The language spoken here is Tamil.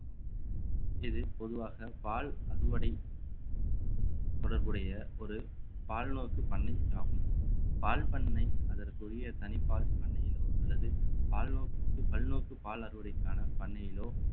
இது பொதுவாக பால் அறுவடை தொடர்புடைய ஒரு பால்நோக்கு பண்ணை ஆகும் பால் பண்ணை அதற்குரிய தனிப்பால் பண்ணையிலோ அல்லது பால்நோக்கு பல்நோக்கு பால் அறுவடைக்கான பண்ணையிலோ